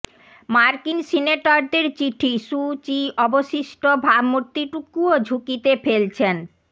মার্কিন সিনেটরদের চিঠি সু চি অবশিষ্ট ভাবমূর্তিটুকুও ঝুঁকিতে ফেলছেন